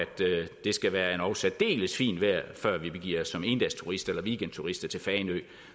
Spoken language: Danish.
det skal være endog særdeles fint vejr før vi begiver os som endagsturister eller weekendturister til fanø